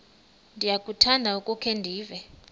ndiyakuthanda ukukhe ndive